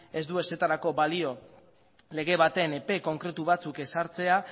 ez du ezertarako balio lege baten epe konkretu batzuk ezartzea